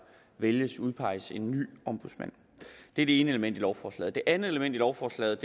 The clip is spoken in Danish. vælgesudpeges en ny ombudsmand det er det ene element i lovforslaget et andet element i lovforslaget